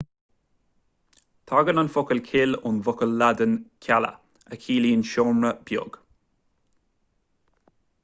tagann an focal cill ón bhfocal laidin cella a chiallaíonn seomra beag